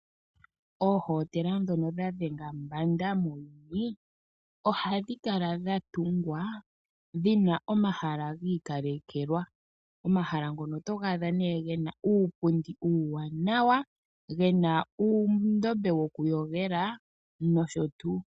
Oohotela ndhono dha dhenga mbanda muuyuni. Ohadhi kala dha tungwa dhina omahala giikalekelwa. Omahala ngono otoga adha gena uupundi uuwanawa, gena uundombe wokuyogela nosho tuu.